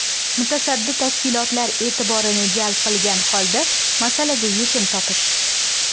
Mutasaddi tashkilotlar e’tiborini jalb qilgan holda, masalaga yechim topish.